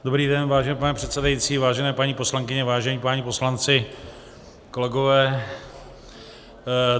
Dobrý den, vážený pane předsedající, vážené paní poslankyně, vážení páni poslanci, kolegové.